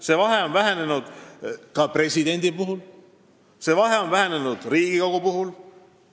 See on vähenenud presidendi ja ka Riigikogu puhul.